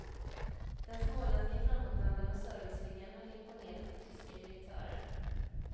Den småländska framåtandan och serviceviljan hade imponerat på tyska direktörer.